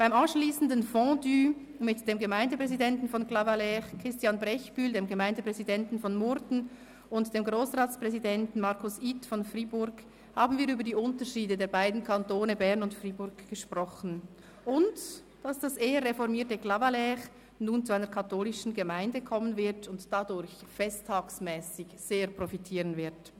Beim anschliessenden Fondue mit dem Gemeindepräsidenten von Clavaleyres, dem Gemeindepräsidenten von Murten, Christian Brechbühl, und dem Grossratspräsidenten Markus Ith von Fribourg, haben wir über die Unterschiede der beiden Kantone Bern und Freiburg gesprochen, und dass das eher reformierte Clavaleyres nun zu einer katholischen Gemeinde kommen und dadurch punkto Festtage sehr profitieren werde.